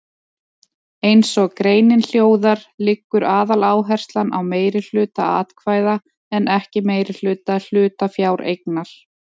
Eins og greinin hljóðar liggur aðaláherslan á meirihluta atkvæða en ekki meirihluta hlutafjáreignar.